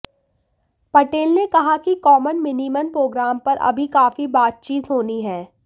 पटेल ने कहा कि कॉमन मिनिमन प्रोग्राम पर अभी काफी बातचीत होनी है